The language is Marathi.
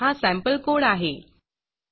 हा सॅम्पल codeसॅम्पल कोड आहे